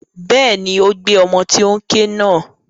Bẹ́ẹ̀ni, ó gbé ọmọ tó n ké náà.